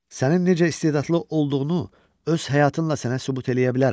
Sənin necə istedadlı olduğunu öz həyatınla sənə sübut eləyə bilərəm.